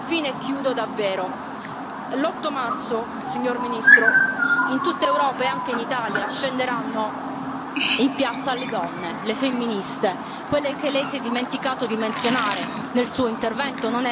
Infine, l'otto marzo, signor Primo ministro, in tutta Europa e anche in Italia scenderanno in piazza le donne, le femministe, quelle che Lei si è dimenticato di menzionare nel Suo intervento.